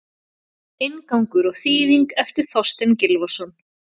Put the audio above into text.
Inngangur og þýðing eftir Þorstein Gylfason.